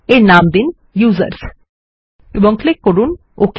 এর নাম দিন ইউজার্স এবং ক্লিক করুন ওক